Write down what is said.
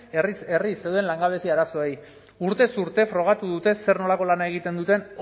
herriz herri zeuden langabezia arazoei urtez urte frogatu dute zer nolako lana egiten duten